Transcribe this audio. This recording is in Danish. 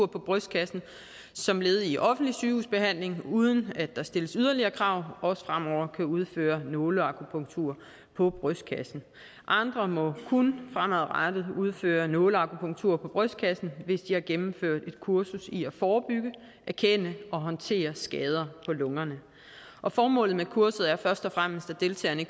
brystkassen som led i offentlig sygehusbehandling uden at der stilles yderligere krav også fremover kan udføre nåleakupunktur på brystkassen andre må kun fremadrettet udføre nåleakupunktur på brystkassen hvis de har gennemført et kursus i at forebygge erkende og håndtere skader på lungerne formålet med kurset er først og fremmest at deltagerne i